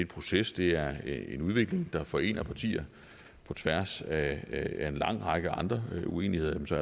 proces det er en udvikling der forener partier på tværs af en lang række andre uenigheder så